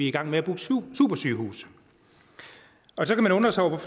i gang med at bygge supersygehuse så kan man undre sig over